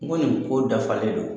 N ko nin ko dafalen don.